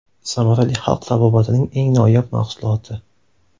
Samarali xalq tabobatining eng noyob mahsuloti.